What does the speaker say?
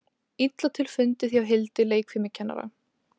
Illa til fundið hjá Hildi leikfimikennara.